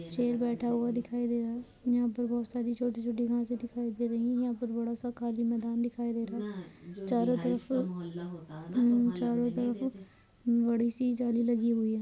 शेर बैठा हुआ दिखाई दे रहा। यहां पर बह सारी छोटी-छोटी घाँसें दिखाई दे रही। यहां पर बड़ा सा खाली मैदान दिखाई दे रहा चारों तरफ उम चारों तरफ उं बड़ी सी जाली लगी हुई है।